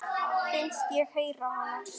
Finnst ég heyra hana.